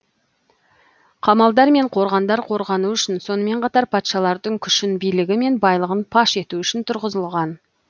қамалдар мен қорғандар қорғану үшін сонымен қатар патшалардың күшін билігі мен байлығын паш ету үшін тұрғызылған